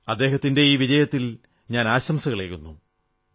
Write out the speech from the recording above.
അദ്ദേഹത്തിന്റെ ഈ വിജയത്തിൽ ഞാൻ ആശംസകളേകുന്നു